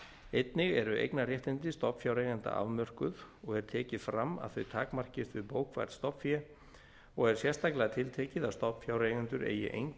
einnig eru eignarréttindi stofnfjáreigenda afmörkuð og er tekið fram að þau takmarkist við bókfært stofnfé og er sérstaklega tiltekið að stofnfjáreigendur eigi enga